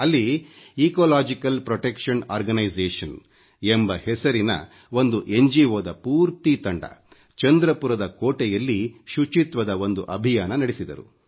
ಅಲ್ಲಿ ecological protection organisation ಎಂಬ ಹೆಸರಿನ ಒಂದು ಪೂರ್ತಿ ತಂಡ ಚಂದ್ರಪುರದ ಕೋಟೆಯಲ್ಲಿ ಶುಚಿತ್ವದ ಒಂದು ಅಭಿಯಾನ ನಡೆಸಿದರು